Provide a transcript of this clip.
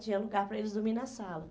Tinha lugar para eles dormir na sala.